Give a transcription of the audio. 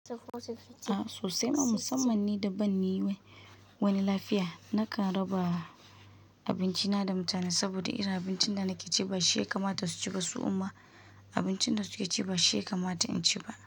A sosai ma musamman ni da ban yi wani lafiya. Nakan raba abinci na da mutane saboda irin abincin da nake ci ba shi ya kamata su ci ba su uma abincin da suke ci ba shi ya kamata in ci ba.